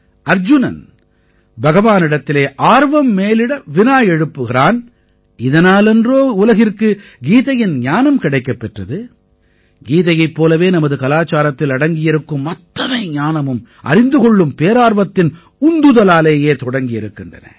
அர்ஜுனன் பகவானிடத்திலே ஆர்வம் மேலிட வினா எழுப்புகிறான் இதனால் அன்றோ உலகிற்கு கீதையின் ஞானம் கிடைக்கப் பெற்றது கீதையைப் போலவே நமது கலாச்சாரத்தில் அடங்கியிருக்கும் அத்தனை ஞானமும் அறிந்து கொள்ளும் பேரார்வத்தின் உந்துதலாலேயே தொடங்கியிருக்கின்றன